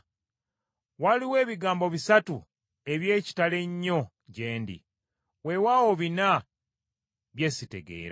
Waliwo ebigambo bisatu eby’ekitalo ennyo gye ndi, weewaawo bina bye sitegeera: